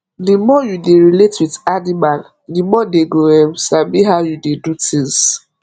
di more u dey relate with animal the more dey go um sabi how u dey do things